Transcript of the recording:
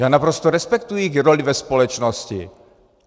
Já naprosto respektuji jejich roli ve společnosti.